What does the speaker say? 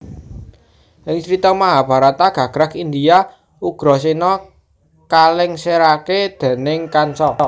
Ing carita Mahabharata gagrag India Ugrasena kalèngsèraké déning Kansa